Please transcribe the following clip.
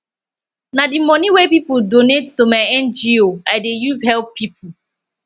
na di money wey pipo donate to my ngo i dey use help pipo